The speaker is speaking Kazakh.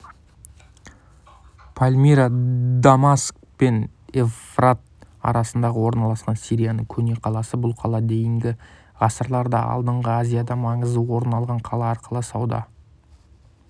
пальмира дамаск пен евфрат арасында орналасқан сирияның көне қаласы бұл қала дейінгі ғасырларда алдыңға азияда маңызды орын алған қала арқылы сауда